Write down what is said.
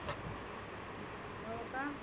हो का?